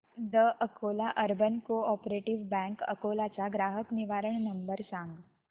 the Akola urban cooperative bank Akola चा ग्राहक निवारण नंबर सांग